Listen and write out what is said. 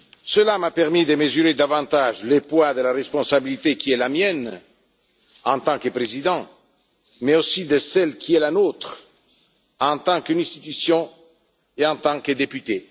Cela m'a permis de mesurer davantage le poids de la responsabilité qui est la mienne, en tant que Président, mais aussi de celle qui est la nôtre, en tant qu'institution et en tant que députés.